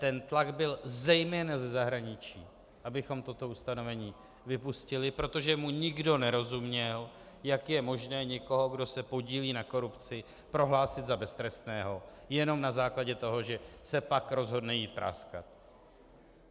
Ten tlak byl zejména ze zahraničí, abychom toto ustanovení vypustili, protože mu nikdo nerozuměl: Jak je možné někoho, kdo se podílí na korupci, prohlásit za beztrestného jenom na základě toho, že se pak rozhodne jít práskat.